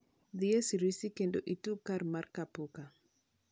dhi e siriusi kendo itugi kar mar kapuka